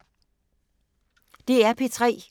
DR P3